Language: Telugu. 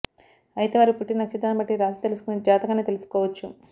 అయితే వారు పుట్టిన నక్షత్రాన్ని బట్టి రాశి తెలుసుకొని జాతకాన్ని తెలుసుకోవచ్చు